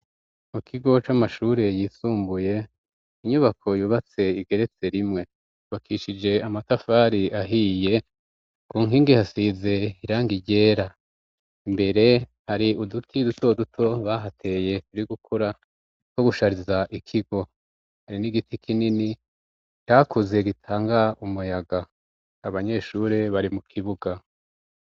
Mu kigo c'amashure yisumbuye, inyubako yubatse igeretse rimwe. Yubakishije amatafari ahiye, ku nkingi hasize irangi ryera. Imbere hari uduti duto duto bahateye turi gukura two gushariza ikigo. Hari n'igiti kinini cakuze gitanga umuyaga; abanyeshure bari mu kibuga.